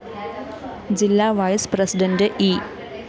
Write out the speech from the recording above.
ജില്ലാ vice president E